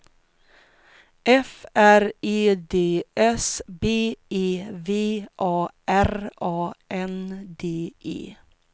F R E D S B E V A R A N D E